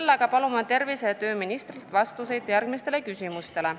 Seetõttu palume tervise- ja tööministrilt vastuseid järgmistele küsimustele.